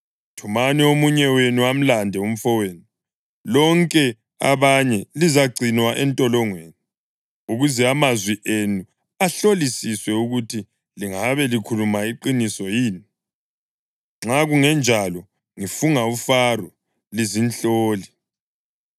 Thumani omunye wenu amlande umfowenu; lonke abanye lizagcinwa entolongweni, ukuze amazwi enu ahlolisiswe ukuthi lingabe likhuluma iqiniso yini. Nxa kungenjalo, ngifunga uFaro, lizinhloli!”